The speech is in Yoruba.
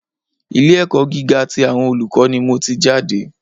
Ilé ẹ̀kọ́ gíga tí àwọn olùkọ́ ni mò tí jáde.